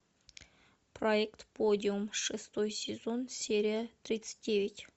проект подиум шестой сезон серия тридцать девять